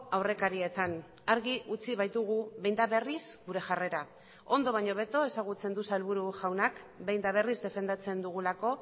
aurrekarietan argi utzi baitugu behin eta berriz gure jarrera ondo baino hobeto ezagutzen du sailburu jaunak behin eta berriz defendatzen dugulako